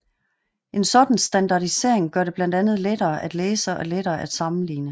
En sådan standardisering gør det blandt andet lettere at læse og lettere at sammenligne